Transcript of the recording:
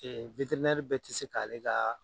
bɛɛ tɛ se k'ale kaaa